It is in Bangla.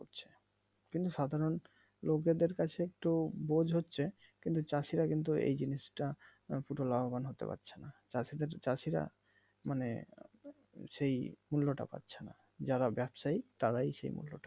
কিন্তু সাধারন লোকদের কাছে একটু বোঝ হচ্ছে, কিন্তু চাষিরা কিন্তু এই জিনিসটা মানে এতোটা লাভবান হতে পারছে নাহ । চাষিদের চাষিরা মানে সেই মূল্যটা পাচ্ছে নাহ যারা ব্যবসায়ী তারাই আসলে